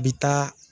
A bi taa